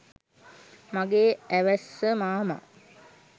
මගේ ඇවැස්ස මාමා